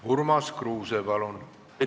Urmas Kruuse, palun!